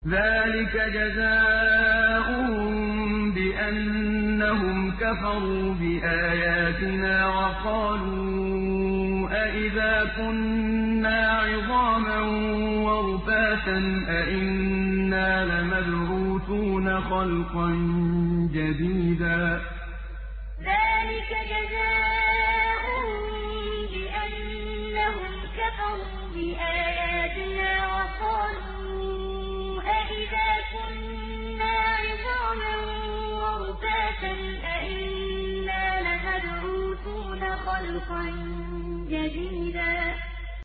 ذَٰلِكَ جَزَاؤُهُم بِأَنَّهُمْ كَفَرُوا بِآيَاتِنَا وَقَالُوا أَإِذَا كُنَّا عِظَامًا وَرُفَاتًا أَإِنَّا لَمَبْعُوثُونَ خَلْقًا جَدِيدًا ذَٰلِكَ جَزَاؤُهُم بِأَنَّهُمْ كَفَرُوا بِآيَاتِنَا وَقَالُوا أَإِذَا كُنَّا عِظَامًا وَرُفَاتًا أَإِنَّا لَمَبْعُوثُونَ خَلْقًا جَدِيدًا